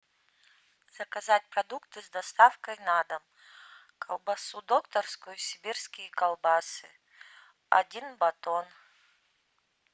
заказать продукты с доставкой на дом колбасу докторскую и сибирские колбасы один батон